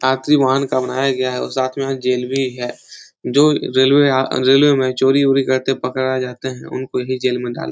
का बनाया गया है और साथ में जेल भी गया है। जो रेलवे या रेलवे में चोरी वोरी करते पकड़ा जाते हैं उनको यहीं जेल में डाल --